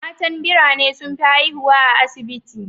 Matan birane sun fi haihuwa a asibiti.